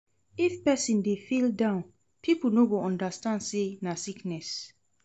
If pesin dey feel down, pipo no go understand sey na sickness.